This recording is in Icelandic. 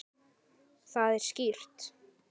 Það er skýrt.